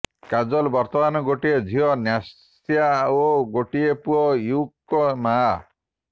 କାଜଲ ବର୍ତ୍ତମାନ ଗୋଟିଏ ଝିଅ ନ୍ୟାସା ଓ ଗୋଟିଏ ପୁଅ ୟୁଗ୍ ଙ୍କ ମାଆ